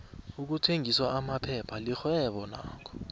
ukuthengisa aphepha lixhwebo nakho